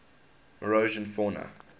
morrison fauna